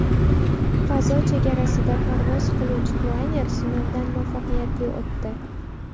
Fazo chegarasida parvoz qiluvchi planer sinovdan muvaffaqiyatli o‘tdi.